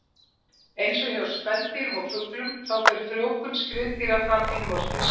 Eins og hjá spendýrum og fuglum þá fer frjóvgun skriðdýra fram innvortis.